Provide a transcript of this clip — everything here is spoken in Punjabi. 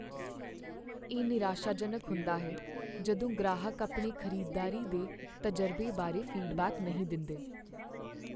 ਇਹ ਨਿਰਾਸ਼ਾਜਨਕ ਹੁੰਦਾ ਹੈ ਜਦੋਂ ਗ੍ਰਾਹਕ ਆਪਣੇ ਖ਼ਰੀਦਦਾਰੀ ਦੇ ਤਜਰਬੇ ਬਾਰੇ ਫੀਡਬੈਕ ਨਹੀਂ ਦਿੰਦੇ।